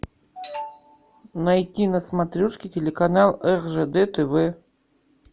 найти на смотрешке телеканал ржд тв